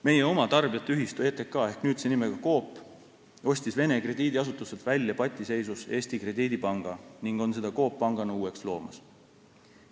Meie oma tarbijate ühistu ETK ehk nüüdse nimega Coop ostis Vene krediidiasutuselt välja patiseisus Eesti Krediidipanga ning on seda Coop Pangana uueks loomas.